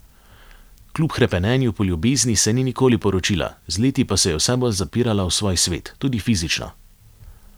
Kljub hrepenenju po ljubezni se ni nikoli poročila, z leti pa se je vse bolj zapirala v svoj svet, tudi fizično.